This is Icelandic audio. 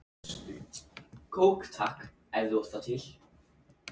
Ef það var hitt, sagði hann æstur: